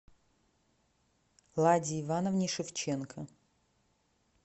ладе ивановне шевченко